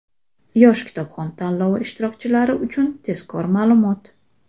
"Yosh kitobxon" tanlovi ishtirokchilari uchun tezkor ma’lumot!.